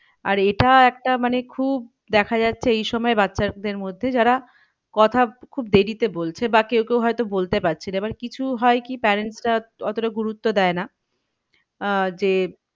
আর এটা একটা মানে খুব দেখা যাচ্ছে এই সময় বাচ্চাদের মধ্যে যারা কথা খুব দেরিতে বলছে বা কেউ কেউ হয়তো বলতে পারছে না। এবার কিছু হয় কি parents রা কিছু গুরুত্ব দেয় না। আহ যে,